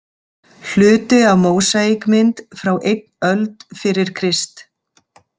Hluti af mósaíkmynd frá einn öld fyrir Krist